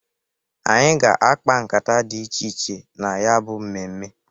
Anyị ga-akpa nkata dị iche iche na ya bụ mmemme.